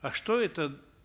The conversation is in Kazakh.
а что это